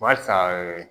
Barisa